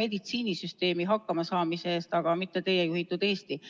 meditsiinisüsteemi hakkamasaamise eest, aga mitte teie juhitud Eesti.